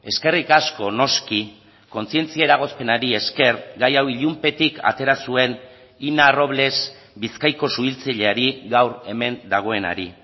eskerrik asko noski kontzientzia eragozpenari esker gai hau ilunpetik atera zuen ina robles bizkaiko suhiltzaileari gaur hemen dagoenari